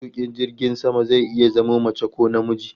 Matukin jirgin sama zai iya zama mace ko namiji